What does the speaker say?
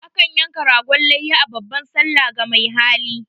A kan yanka ragon layya a babban sallah ga mai hali.